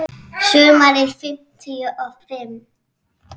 Sumarið fimmtíu og fimm.